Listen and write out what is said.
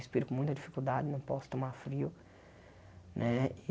Respiro com muita dificuldade, não posso tomar frio. Né e